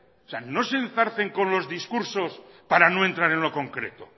o sea no se enzarcen con los discursos para no entrar en lo concreto